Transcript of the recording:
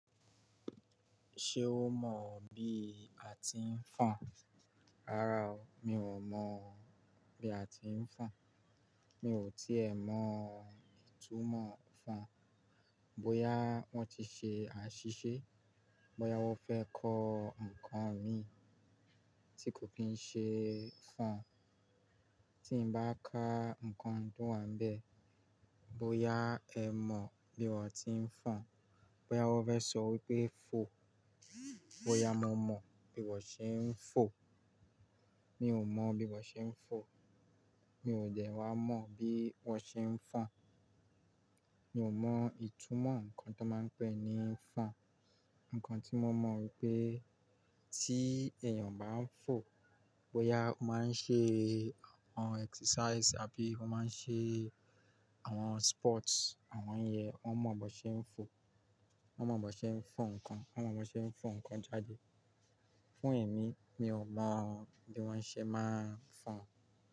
Ṣé o mọ̀ bí a ti ń fọn? Rárá o, mi ò mọ̀ bí a ti ń fọn. Mi ò tí è mọ ìtumọ̀ fọn. Bóyá wọ́n ti ṣe àṣìṣe, bóyá wọ́n fẹ́ kọ ǹkan mi tí kò kin ṣe fọn, tí bá ka ǹkan to wa níbẹ̀, bóyá ẹ mọ̀ bí wọ́n ti ń fọn, bóyá wọ́n fẹ́ sọ wípé fò, bóyá mo mọ̀ bí wọ́n ṣe ń fò. Mi ò mọ̀ bí wọ́n ṣe ń fò. Mi ò jẹ́ wá mọ̀ bí wọ́n ṣe ń fọn. Mi ò mọ ìtumọ̀ ǹkan tó máa ń pè ní fọn. Ǹkan tí mo mọ̀ wípé tí èèyàn bá ń fò, bóyá ó máa ń ṣe àwọn exercise àbí ó máa ń ṣe àwọn sport, àwọn ń yẹn, wọ́n mọ̀ bó ṣe ń fò. Wọ́n mọ̀ bó ṣe ń fò ǹkan, wọ́n mọ̀ bó ṣe ń fò ǹkan jáde. Fún èmi, mi ò mọ̀ bí wọ́n ṣe máa ń fọn.